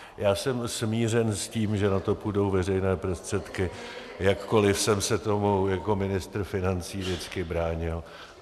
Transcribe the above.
Já jsem smířen s tím, že na to půjdou veřejné prostředky, jakkoliv jsem se tomu jako ministr financí vždycky bránil.